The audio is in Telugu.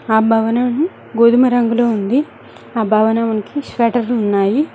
ఆ భవనం గోధుమ రంగులో ఉంది ఆ భవనం కి షేటర్ ఉన్నాయి.